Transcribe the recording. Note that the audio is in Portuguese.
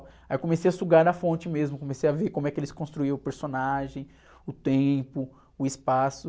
Aí eu comecei a sugar na fonte mesmo, comecei a ver como é que eles construíram o personagem, o tempo, o espaço.